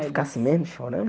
Ficar assim mesmo, chorando?